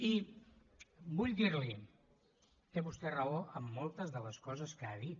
i vull dir li ho té vostè raó en moltes de les coses que ha dit